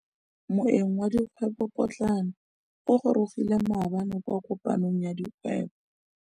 Moêng wa dikgwêbô pôtlana o gorogile maabane kwa kopanong ya dikgwêbô.